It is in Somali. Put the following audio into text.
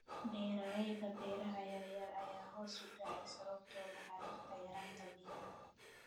Beeralayda beeraha yaryar ayaa hoos u dhacaya sababo la xiriira yaraanta biyaha.